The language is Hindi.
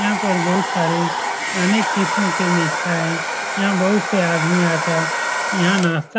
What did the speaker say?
यहाँ पर बहोत सारे अनेक किस्म के मीठाई यहाँ बहोत से आदमी आकर यहाँ नाश्ता --